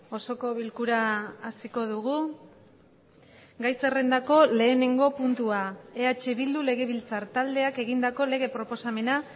osoko bilkura hasiko dugu gai zerrendako lehenengo puntua eh bildu legebiltzar taldeak egindako lege proposamena